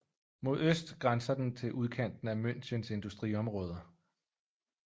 Mod øst grænser den til udkanten af Münchens industriområder